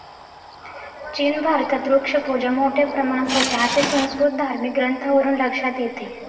चीन भारतात वृक्षपूजा मोठ्या प्रमाणात होते, असे संस्कृत धार्मिक ग्रंथांवरून लक्षात येते.